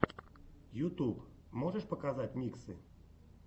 ютуб можешь показать миксы